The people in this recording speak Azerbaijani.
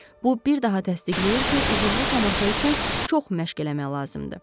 Bu bir daha təsdiqləyir ki, uğurlu tamaşa üçün çox məşq eləmək lazımdır.